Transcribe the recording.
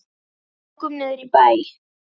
Við ókum niður í bæ.